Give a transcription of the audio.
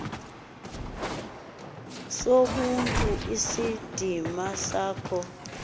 sobuntu isidima sakho